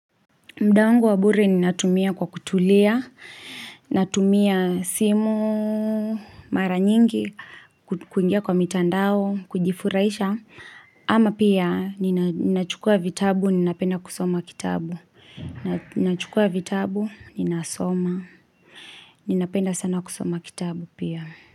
Muda wangu wa bure ninatumia kwa kutulia, natumia simu, mara nyingi, kuingia kwa mitandao, kujifurahisha. Ama pia, ni nachukua vitabu, ni napenda kusoma kitabu. Nachukua vitabu, ni nasoma. Ni napenda sana kusoma kitabu pia.